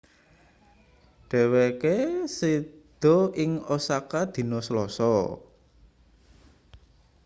dheweke seda ing osaka dina selasa